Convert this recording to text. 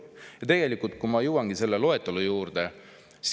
Ja tegelikult nüüd ma jõuangi selle loetelu juurde.